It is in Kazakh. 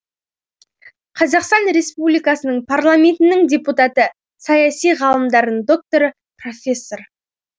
қазақстан республикасының парламентінің депутаты саяси ғалымдарының докторы профессор